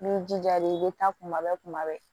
N'i jija de i bɛ taa kuma bɛɛ kuma bɛɛ